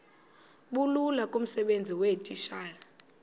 bulula kumsebenzi weetitshala